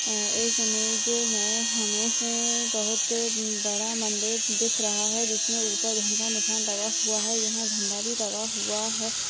इस इमेज मे हमे बहुत बड़ा मंदिर दिख रहा हैं जिसमे ऊपर धन का निशान लगा हुआ हैं यहाँ झंण्डा भी लगा हुआ हैं।